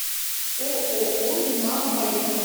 ооо динамо поехали